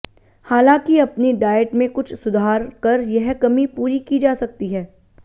हालांकि अपनी डायट में कुछ सुधार कर यह कमी पूरी की जा सकती है